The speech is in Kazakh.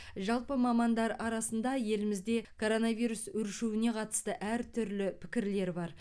жалпы мамандар арасында елімізде коронавирус өршуіне қатысты әртүрлі пікірлер бар